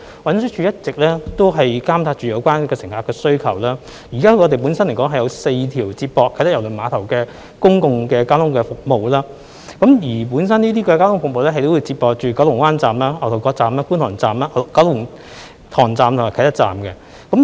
運輸署一直監察有關乘客的需求，現時我們有4條接駁啟德郵輪碼頭的公共交通服務路線，而這些交通服務會接駁到九龍灣站、牛頭角站、觀塘站、九龍塘站和啟德站。